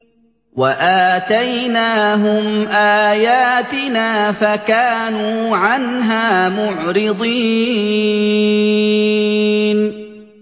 وَآتَيْنَاهُمْ آيَاتِنَا فَكَانُوا عَنْهَا مُعْرِضِينَ